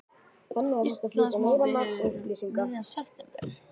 Íslandsmótið hefst um miðjan september